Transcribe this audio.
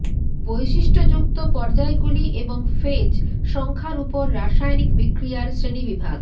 বৈশিষ্ট্যযুক্ত পর্যায়গুলি এবং ফেজ সংখ্যার উপর রাসায়নিক বিক্রিয়ার শ্রেণীবিভাগ